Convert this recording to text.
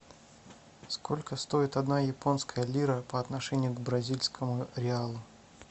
сколько стоит одна японская лира по отношению к бразильскому реалу